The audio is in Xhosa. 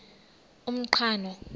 umqhano